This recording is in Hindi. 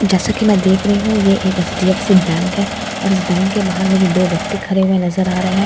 जैसे कि मैं देख रही हूं यह एक एच_डीए_फ_सी बैंक है और इस बैंक के बाहर मुझे दो व्यक्ति खड़े हुए नजर आ रहे हैं --